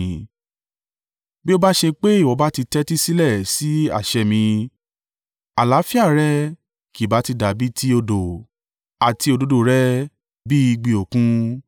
Bí ó bá ṣe pé ìwọ bá ti tẹ́tí sílẹ̀ sí àṣẹ mi, àlàáfíà rẹ kì bá ti dàbí ì ti odò, àti òdodo rẹ bí ìgbì Òkun.